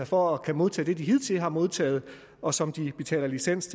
for at kunne modtage det de hidtil har modtaget og som de betaler licens